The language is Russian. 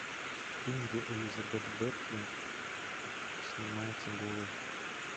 фильм где элизабет беркли снимается голой